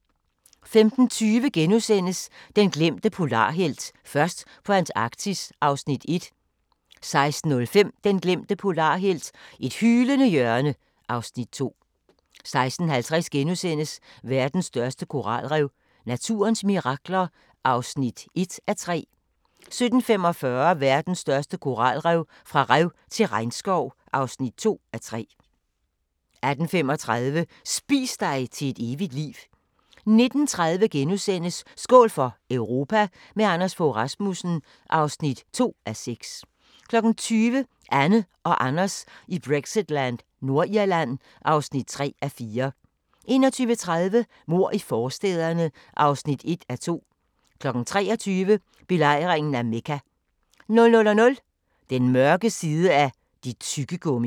15:20: Den glemte polarhelt: Først på Antarktis (Afs. 1)* 16:05: Den glemte polarhelt: Et hylende hjørne (Afs. 2) 16:50: Verdens største koralrev – naturens mirakler (1:3)* 17:45: Verdens største koralrev – fra rev til regnskov (2:3) 18:35: Spis dig til et evigt liv 19:30: Skål for Europa – med Anders Fogh Rasmussen (2:6)* 20:00: Anne og Anders i Brexitland: Nordirland (3:4) 21:30: Mord i forstæderne (1:2) 23:00: Belejringen af Mekka 00:00: Den mørke side af dit tyggegummi!